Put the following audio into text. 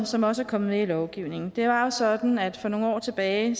som også er kommet med i lovgivningen det var jo sådan at for nogle år tilbage